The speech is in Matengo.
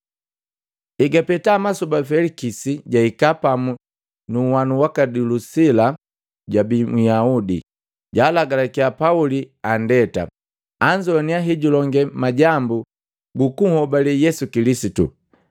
Egapeta masoba Felikisi jahika pamu nunhwana waki Dulisila jabii Myaudi. Jaalagalakiya Pauli anndeta, anzowaniya hejulonge majambu gukuhobale Yesu Kilisitu.